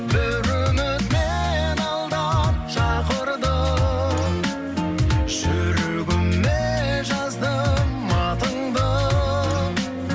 бір үміт мені алдан шақырды жүрегіме жаздым атыңды